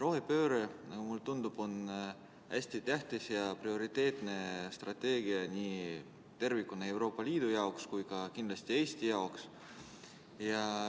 Rohepööre, nagu mulle tundub, on hästi tähtis ja prioriteetne strateegia nii tervikuna Euroopa Liidu jaoks kui ka kindlasti Eesti jaoks.